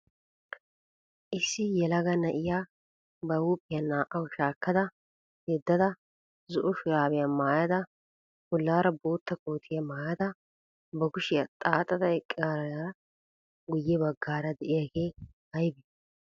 Issi yelaga na"iyaa ba huuphiya naa"awu shaakkaa yeddada zo"o shuraabiya maayada bollaara bootta kootiyaa maayada ba kushiyaa xaaxada eqqaarippe guyye baggaara de'iyaagee aybee?